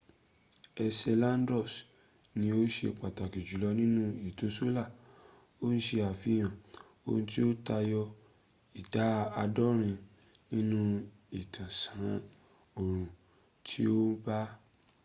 enceladus ni ó ṣe pàtàkì jùlọ nínú ètò solar ó ń ṣe àfihàn ohun tí ó tayọ ìdá àádọ́rin nínú ìtàsán oòrun tí ó bà á